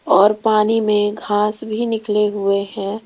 और पानी में घास भी निकले हुए हैं।